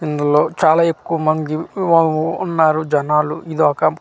ఇందులో చాలా ఎక్కువమంది ఉన్నారు జనాలు ఇదొక--